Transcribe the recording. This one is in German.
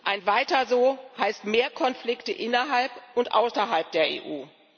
Ein Weiter so heißt mehr Konflikte innerhalb und außerhalb der EU.